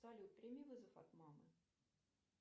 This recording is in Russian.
салют прими вызов от мамы